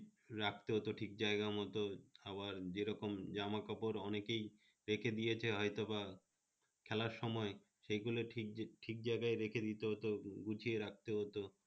রাখতে হতো ঠিক জায়গামত আবার যেরকম জামাকাপড় অনেকে রেখে দিয়েছে হয়তোবা, খেলার সময় সেগুলো ঠিক বু ঠিক যায়গায় রেখে দিত তো গুছিয়ে রাখতে হত